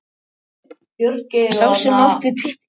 Sá sem átti stikkið sem næst komst hnöppunum vann leikinn.